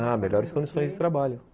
Ah, melhores condições de trabalho.